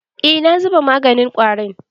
Eh, na zuba maganin ƙwarin.